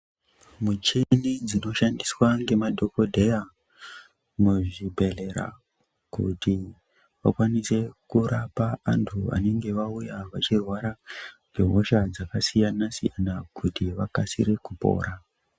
Muchini dzinoshandiswa ngemadhokodheya ,kuti vakwanise kurapa antu vanenge vauya vachirwara ngehosha dzakasiyana-siyana kuti vakasire kupora.